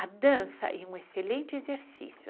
A dança é um excelente exercício.